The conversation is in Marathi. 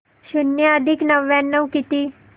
शून्य अधिक नव्याण्णव किती